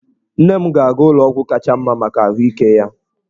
Nne m ga-aga ụlọ ọgwụ kacha mma maka ahụike ya.